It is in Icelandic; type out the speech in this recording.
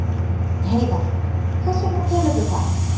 Heiðar: Hvers vegna telurðu það?